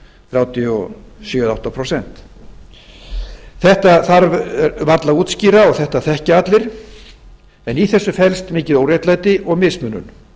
þrjátíu og sjö eð þrjátíu og átta prósent þetta þarf varla að útskýra og þetta þekkja allir en í þessu felst mikið óréttlæti og mismunun